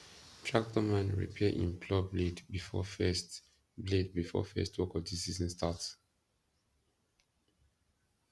tractor man repair him plough blade before first blade before first work of the season start